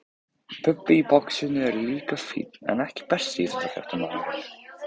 Bubbi í boxinu er líka fínn EKKI besti íþróttafréttamaðurinn?